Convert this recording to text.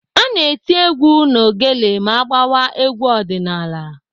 Ana eti ekwe na ogele ma agbawa egwu ọdịnaala.